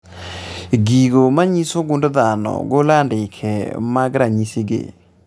Gigo manyiso gund dhano golo andike mag ranyisi gi